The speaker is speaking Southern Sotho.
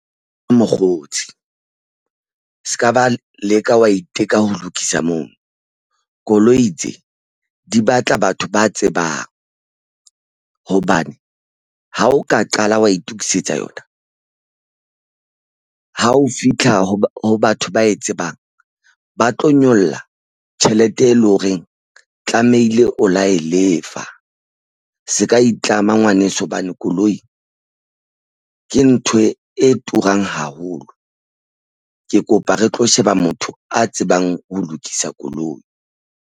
Mokgotsi ska ba leka wa iteka ho lokisa moo. Koloi tse di batla batho ba tsebang hobane ha o ka qala wa itokisetsa yona ha o fitlha ho batho ba e tsebang. Ba tlo nyolla tjhelete e leng horeng tlamehile o la e lefa. Seka e itlama ngwaneso hobane koloi ke ntho e turang haholo. Ke kopa re tlo sheba motho a tsebang ho lokisa koloi.